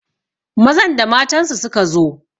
Mazan da matansu suka zo